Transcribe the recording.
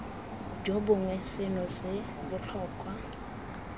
jo bongwe seno se botlhokwa